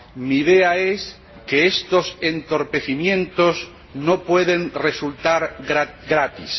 Mi idea es que estos entorpecimientos no pueden resultar gratis.